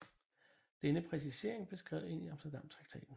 Denne præcisering blev skrevet ind i Amsterdamtraktaten